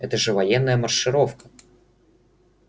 это же военная маршировка